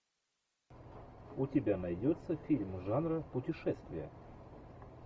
у тебя найдется фильм жанра путешествие